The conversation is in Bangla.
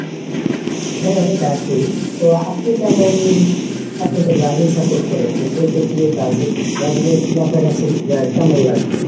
হ্যাঁ এটা ঠিক তো আপনি কেমন আপনি তো ব্রাজিল support করেন, তো সেই ক্ষেত্রে ব্রাজিল ব্রাজিলের খেলা আপনার কাছে কেমন লাগলো?